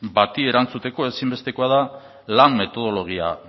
bati erantzuteko ezinbestekoa da lan metodologia